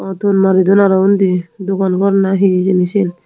o ton maridon aro undi dogan gor na hijeni siyen.